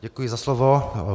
Děkuji za slovo.